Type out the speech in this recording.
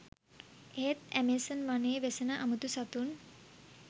එහෙත් ඇමේසන් වනයේ වෙසෙන අමුතු සතුන්